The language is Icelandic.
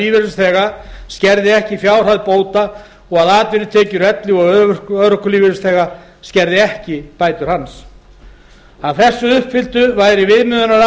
lífeyrisþega skerði ekki fjárhæð bóta og að atvinnutekjur elli og örorkulífeyrisþegans skerði ekki bætur hans að þessu uppfylltu væri